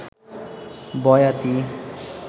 বয়াতী